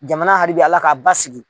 Jamana haribi Ala k'a basigi.